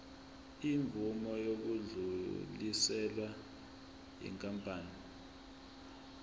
imvume yokudluliselwa yinkampani